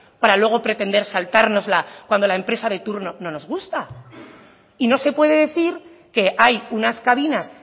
para luego pretender saltárnosla cuando la empresa de turno no nos gusta y no se puede decir que hay unas cabinas